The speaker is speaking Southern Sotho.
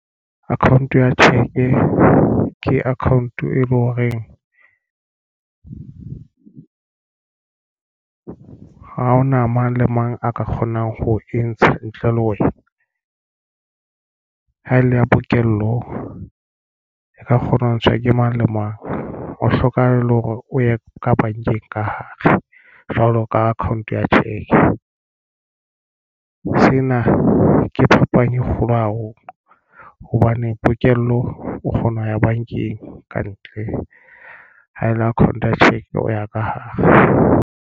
Account ya cheque ke account e leng horeng ha hona mang le mang a ka kgonang ho e ntsha ntle le wena, ha e le ya pokello e ka kgona ho ntshwa ke mang le mang. O hlokahale hore o ye ka bankeng ka hare jwalo ka account ya cheque. Sena ke phapang e kgolo haholo hobane pokello o kgona ho ya bankeng kantle. Ha e le account ya cheque o ya ka hare.